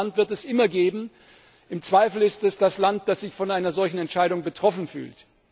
Und dieses Land wird es immer geben, im Zweifel ist es das Land, das sich von einer solchen Entscheidung betroffen fühlt.